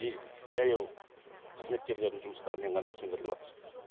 и жаяу қызметкерлердің жұмыстарымен ғана сөндірілватыр